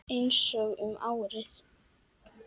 Einsog um árið.